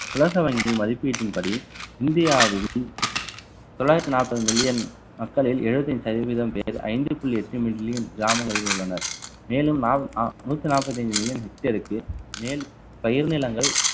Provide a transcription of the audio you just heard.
உலக வங்கியின் மதிப்பீட்டின்படி இந்தியாவின் தொள்ளாயிரத்து நாற்பது million மக்களில் எழுபத்தி ஐந்து சதவீதம் பேர் ஐந்து புள்ளி எட்டு million கிராமங்களில் உள்ளனர் மேலும் நூத்தி நாப்பத்தி அஞ்சு million hectare க்கு மேல் பயிர் நிலங்கள்